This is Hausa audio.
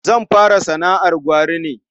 Zan fara sana'ar gwari ne.